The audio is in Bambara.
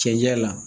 Cɛncɛn na